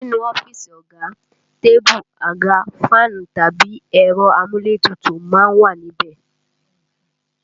Nínú ọ́fíìsì ọ̀gá, tébù, àga, fáànù tàbí ẹ̀rọ amúlétutù má ń wà ní ibẹ̀